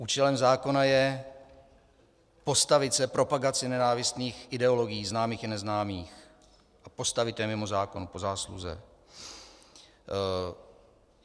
Účelem zákona je postavit se propagaci nenávistných ideologií známých i neznámých a postavit je mimo zákon, po zásluze.